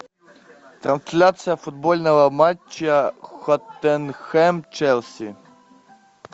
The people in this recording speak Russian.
трансляция футбольного матча тоттенхэм челси